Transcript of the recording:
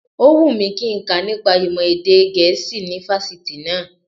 Ó wù mí kí nka nípa ìmọ̀ èdè gẹ̀ẹ́sì ní fásitì náá